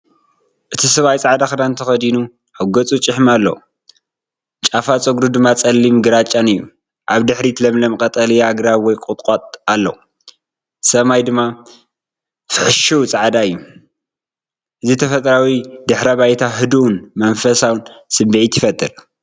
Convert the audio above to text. እቲ ሰብኣይ ጻዕዳ ክዳን ተኸዲኑ፡ ኣብ ገጹ ጭሕሚ ኣለዎ፡ ጫፋት ጸጉሩ ድማ ጸሊምን ግራጭን እዩ። ኣብ ድሕሪት ለምለም ቀጠልያ ኣግራብ ወይ ቁጥቋጥ ኣሎ፣ ሰማይ ድማ ፍሕሽው ጻዕዳ እዩ። እዚ ተፈጥሮኣዊ ድሕረ ባይታ ህዱእን መንፈሳውን ስምዒት ይፈጥር።